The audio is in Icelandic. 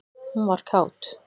Hún var kát.